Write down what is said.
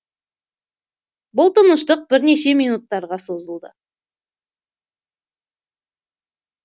бұл тыныштық бірнеше минуттарға созылды